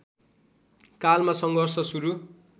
कालमा सङ्घर्ष सुरु